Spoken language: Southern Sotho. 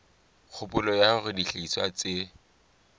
kgopolo ya hore dihlahiswa tse